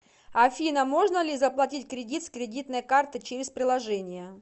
афина можно ли заплатить кредит с кредитной карты через приложение